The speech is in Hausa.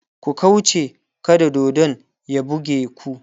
ku kauche kada dodon ya buge ku!